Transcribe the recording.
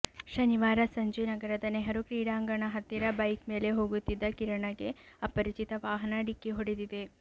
ಶನಿವಾರ ಸಂಜೆ ನಗರದ ನೆಹರು ಕ್ರೀಡಾಂಗಣ ಹತ್ತಿರ ಬೈಕ್ ಮೇಲೆ ಹೋಗುತ್ತಿದ್ದ ಕಿರಣಗೆ ಅಪರಿಚಿತ ವಾಹನ ಡಿಕ್ಕಿ ಹೊಡೆದಿದೆ